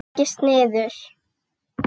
Leggist niður.